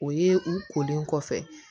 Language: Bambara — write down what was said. O ye u kolen kɔfɛ